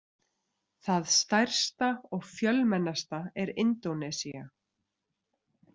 Það stærsta og fjölmennasta er Indónesía.